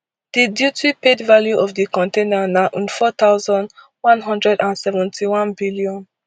di duty paid value of di container na nfour thousand, one hundred and seventy-one billion